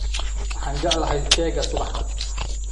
Waxaan jeclahay keega subaxda